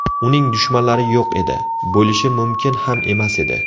Uning dushmanlari yo‘q edi, bo‘lishi mumkin ham emas edi.